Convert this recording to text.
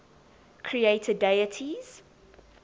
creator deities